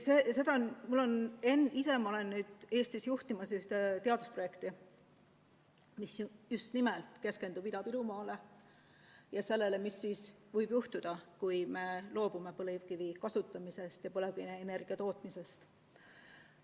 Ma juhin praegu Eestis ühte teadusprojekti, mis just nimelt keskendub Ida-Virumaale ja sellele, mis võib juhtuda, kui me loobume põlevkivi kasutamisest ja põlevkivienergia tootmisest.